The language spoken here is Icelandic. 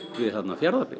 Fjarðabyggð